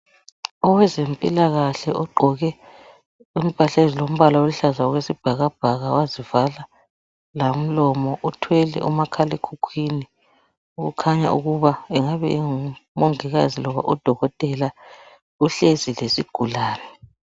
Owezempilakahle ogqoke impahla ezilombala oluhlaza okwesibhakabhaka wazivala lomlomo, uthwele omakhalekhukhwini. Kukhanya ukuba angabe engumongikazi loba udokotela, uhlezi lesigulane.